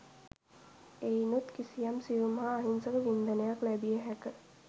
එයිනුත් කිසියම් සියුම් හා අහිංසක වින්දනයක් ලැබිය හැක.